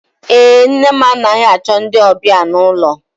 Èé, nne m anaghị achọ ndị ọbịa n'ụlọ.